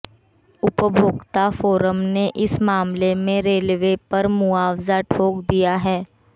उपभोक्ता फोरम ने इस मामले में रेलवे पर मुआवजा ठोक दिया है